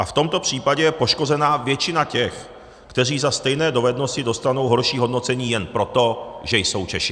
A v tomto případě je poškozena většina těch, kteří za stejné dovednosti dostanou horší hodnocení jen proto, že jsou Češi.